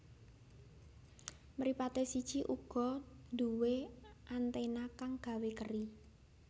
Mripaté siji uga nduwé anténa kang gawé keri